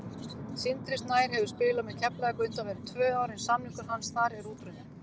Sindri Snær hefur spilað með Keflavík undanfarin tvö ár en samningur hans þar er útrunninn.